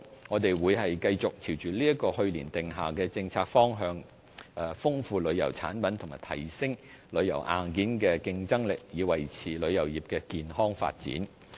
我們會繼續朝着去年訂下的政策方向，豐富旅遊產品及提升旅遊硬件的競爭力，以維持旅遊業的健康發展。